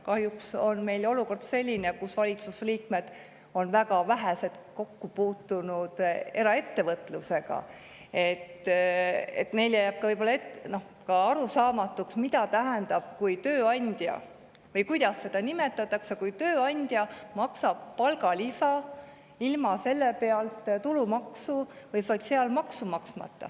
Kahjuks on meil olukord selline, et väga vähesed valitsuse liikmed on kokku puutunud eraettevõtlusega ja neile jääb arusaamatuks, mida tähendab või kuidas nimetatakse tööandja makstud palgalisa, millelt ei ole makstud tulumaksu ega sotsiaalmaksu.